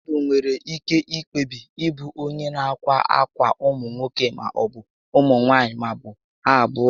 Mmadụ nwere ike kpebie ịbụ onyé nà akwa ákwà ụmụ nwoke maọbụ ụmụ nwaanyị maọbụ ha abụọ